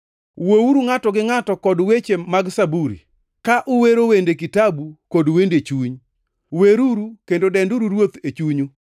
Wuouru ngʼato gi ngʼato kod weche mag zaburi kwero wende kitabu kod wende chuny. Weruru kendo denduru Ruoth e chunyu